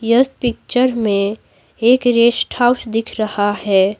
इस पिक्चर में एक रेस्ट हाउस दिख रहा है।